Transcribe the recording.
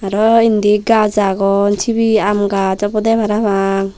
aro indi gaaj agon sibey aam gaas obodey parapang.